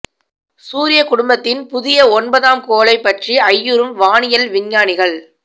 சூரிய குடும்பத்தின் புதிய ஒன்பதாம் கோளைப் பற்றி ஐயுறும் வானியல் விஞ்ஞானிகள்